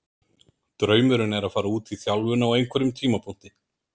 Draumurinn er að fara út í þjálfun á einhverjum tímapunkti.